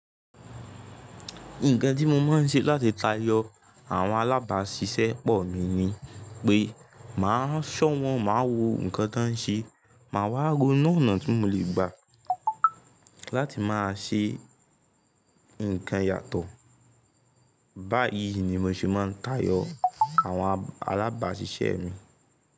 Nǹkan tí mo máa ń ṣe láti tayọ àwọn alábáṣiṣẹ́ pọ̀ mi ni pé mà á ṣọ̀wọ́n, màá wo nǹkan tó ń ṣe, màá wá ro nu onà tí mo lè gbà láti máa ṣe nǹkan yàtọ̀. Báyìí ni mo ṣe máa ń tayọ àwọn alábáṣiṣẹ́ mi.